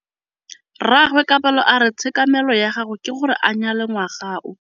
Rragwe Kabelo a re tshekamêlô ya gagwe ke gore a nyale ngwaga o.